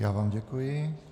Já vám děkuji.